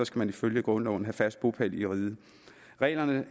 skal man ifølge grundloven have fast bopæl i riget reglerne